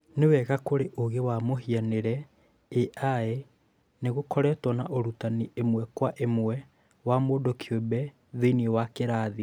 Nĩwega kũrĩ ũũgĩ wa mũhianĩre (AI),nĩgũkoretwo na ũrutani ĩmwe kwa ĩmwe wa mũndũ kĩumbe thĩiniĩ wa kĩrathi